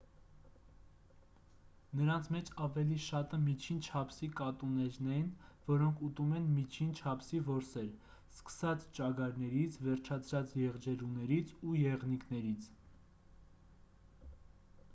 նրանց մեջ ավելի շատը միջին չափսի կատուներն են որոնք ուտում են միջին չափսի որսեր սկսած ճագարներից վերջացրած եղջերուներից ու եղնիկներից